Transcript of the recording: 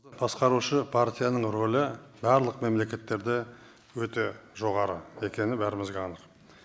басқарушы партияның рөлі барлық мемлекеттерде өте жоғары екені бәрімізге анық